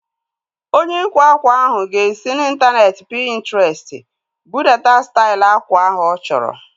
Onye ịkwa ákwà ahu ga-esi n'intaneeti Pintrestị budata stail akwa ahu ọ chọrọ